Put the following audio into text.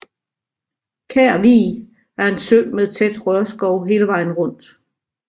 Kær Vig er en sø med tæt rørskov hele vejen rundt